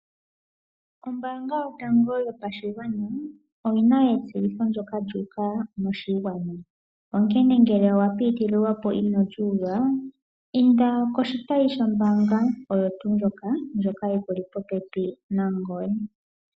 Ombanga yotango yopashigwana oyina etseyitho ndjoka lyuu uka moshigwana. Onkene ngele owa pitililwa po ino li uva, inda koshitayi mbaanga yikuli popepi nangoye.